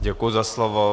Děkuji za slovo.